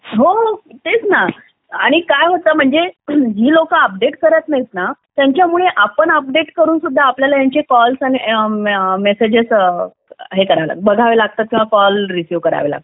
हो तेच ना आणि काय होतं म्हणजे ही लोक अपडेट करत नाहीत ना त्यांच्यामुळे आपण अपडेट करून सुद्धा आपल्याला ह्यांची कॉल मेसेजेस हे करायला लागतात बघायला लागतात किंवा कॉल रिसीव करायला लागतात